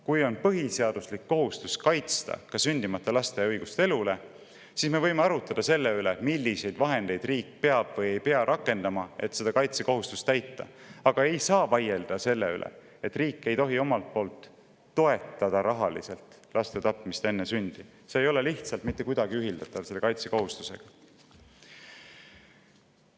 Kui meil on põhiseaduslik kohustus kaitsta ka sündimata laste õigust elule, siis me võime arutleda selle üle, milliseid vahendeid riik peab või ei pea rakendama selleks, et seda kaitsekohustust täita, aga me ei saa vaielda selle üle, et riik ei tohi rahaliselt toetada laste tapmist enne sündi, sest see ei ole mitte kuidagi ühildatav selle kaitsekohustusega.